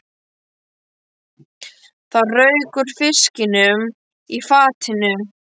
Það rauk úr fiskinum í fatinu.